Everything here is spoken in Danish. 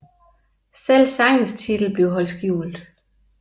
Selv sangens titel blev holdt skjult